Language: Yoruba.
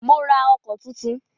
Mó rá ọkọ̀ túntún.